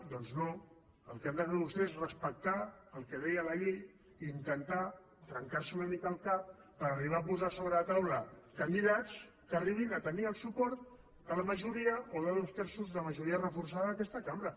doncs no el que han de fer vostès és respectar el que deia la llei i intentar trencar se una mica el cap per arribar a posar sobre la taula candidats que arribin a tenir el suport de la majoria o de dos terços de la majoria reforçada d’aquesta cambra